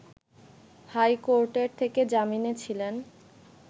high কোর্টের থেকে জামিনে ছিলেন